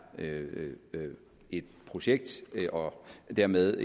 et projekt og dermed